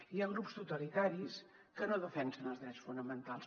hi ha grups totalitaris que no defensen els drets fonamentals